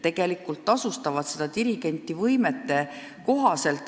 Dirigendile makstakse võimete kohaselt.